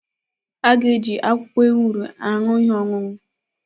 A ga-eji akwụkwọ ewuro aṅụ ihe ọṅụṅụ.